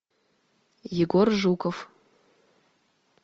егор жуков